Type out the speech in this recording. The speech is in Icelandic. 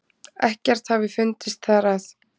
Ekkert hafi fundist þar að